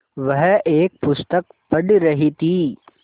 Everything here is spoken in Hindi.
वह एक पुस्तक पढ़ रहीं थी